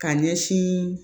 Ka ɲɛsin